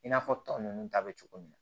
I n'a fɔ tɔ ninnu ta bɛ cogo min na